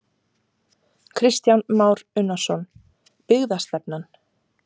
Kristján Már Unnarsson: Byggðastefnan?